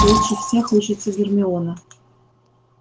лучше всех учится гермиона